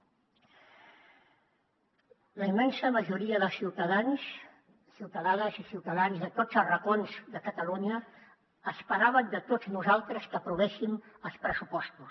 la immensa majoria de ciutadans ciutadanes i ciutadans de tots els racons de catalunya esperaven de tots nosaltres que aprovéssim els pressupostos